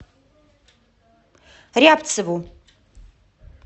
рябцеву